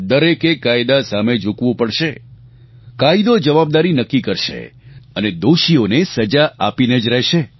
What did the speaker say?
દરેકે કાયદા સામે ઝૂકવું પડશે કાયદો જવાબદારી નક્કી કરશે અને દોષીઓને સજા આપીને જ રહેશે